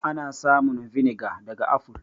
Ana samun vinegar daga aful.